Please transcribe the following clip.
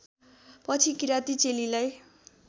पछि किराती चेलीलाई